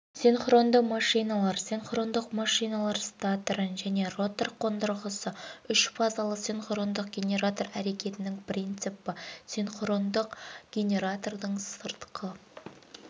синхрондық қозғалтқыш әрекетінің принципі синхрондық қозғалтқыштың механикалық сипаттамасы кіруге қосу амалы айналу жиілігін реттеу және айналу